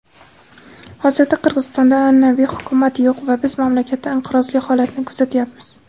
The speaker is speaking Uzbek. Hozirda Qirg‘izistonda an’anaviy Hukumat yo‘q va biz mamlakatda inqirozli holatni kuzatyapmiz.